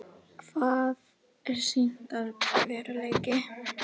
Hvað er sýndarveruleiki?